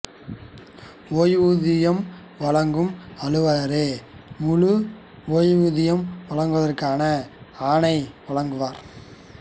ஓய்வூதியம் வழங்கும் அலுவலரே முழு ஓய்வூதியம் வழங்குவதற்கான ஆணை வழங்குவார்